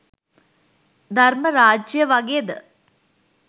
ධර්ම රාජ්‍යය වගේද